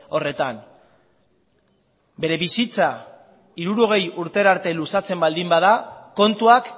horretan bere bizitza hirurogei urtera arte luzatzen baldin bada kontuak